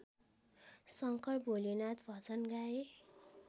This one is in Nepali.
शंकर भोलेनाथ भजन गाए